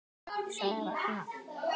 sagði Ragnar.